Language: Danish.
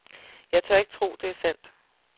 Jeg tør ikke tro, det er sandt.